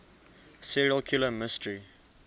serial killer mystery